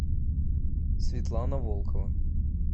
светлана волкова